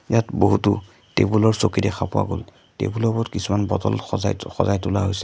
ইয়াত বহুতো টেবুল আৰু চকী দেখা পোৱা গ'ল টেবুল ৰ ওপৰত কিছুমান বটল সজাই সজাই তোলা হৈছে।